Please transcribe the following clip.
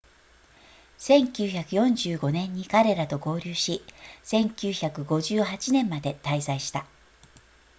1945年に彼らと合流し1958年まで滞在した